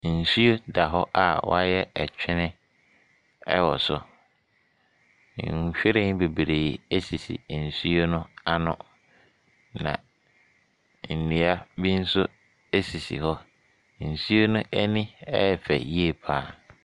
Nsuo da hɔ a wɔayɛ ɛtwene wɔ so, nhwiren bebree nso sisi nsuo no ano. Na nnua bi nso sisi hɔ. Nsuo no ani yɛ fɛ yi pa ara.